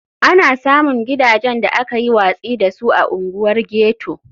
Ana samun gidajen da aka yi watsi da su a unguwar ghetto.